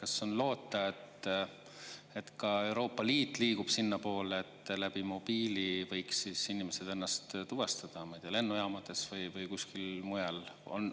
Kas on loota, et ka Euroopa Liit liigub sinnapoole, et mobiili abil võiks inimesed ennast tuvastada, ma ei tea, lennujaamades või kuskil mujal?